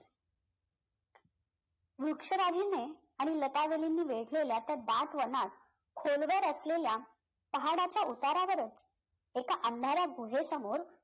वृक्षराजीने आणि लतावालीने त्या दाट वनात खोलवर असलेल्या पहाडाच्या उतारावरच एका अंधारा गुहे समोर